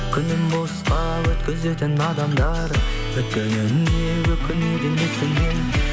күнін босқа өткізетін адамдар өткеніне өкінеді несіне